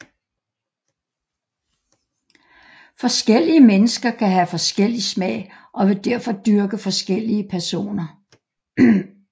Forskellige mennesker kan have forskellig smag og vil derfor dyrke forskellige personer